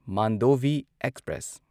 Mandovi express